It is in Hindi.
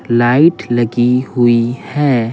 लाइट लगी हुई है।